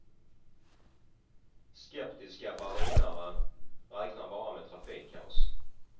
Skeptiska berlinare räknar bara med trafikkaos.